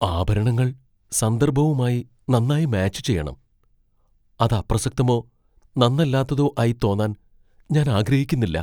ആഭരണങ്ങൾ സന്ദർഭവുമായി നന്നായി മാച്ച് ചെയ്യണം . അത് അപ്രസക്തമോ നന്നല്ലാത്തതോ ആയി തോന്നാൻ ഞാൻ ആഗ്രഹിക്കുന്നില്ല.